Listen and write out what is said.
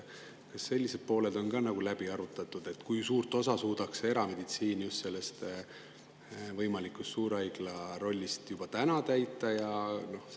Kas see on ka läbi arutatud, kui suurt osa suudaks erameditsiin just selle võimaliku suurhaigla rollist juba täna täita?